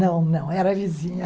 Não, não, era vizinha.